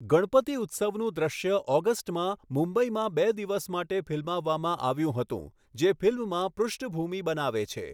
ગણપતિ ઉત્સવનું દૃશ્ય ઓગસ્ટમાં મુંબઈમાં બે દિવસ માટે ફિલ્મવામાં આવ્યું હતું, જે ફિલ્મમાં પૃષ્ઠભૂમિ બનાવે છે.